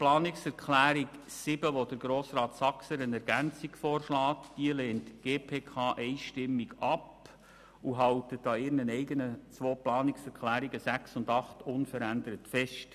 Planungserklärung 7 lehnt die GPK einstimmig ab und hält an ihren eigenen beiden Planungserklärungen 6 und 8 unverändert fest.